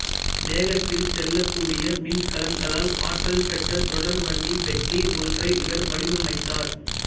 வேகத்தில் செல்லக்கூடிய மின்கலங்களால் ஆற்றல்பெற்ற தொடர்வண்டிப் பெட்டி ஒன்றை இவர் வடிவமைத்தார்